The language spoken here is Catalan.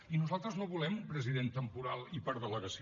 i nosaltres no volem un president temporal i per delegació